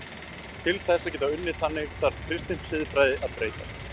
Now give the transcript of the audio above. Til þess að geta unnið þannig þarf kristin siðfræði að breytast.